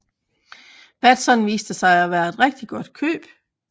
Batson viste sig at være et rigtig godt køb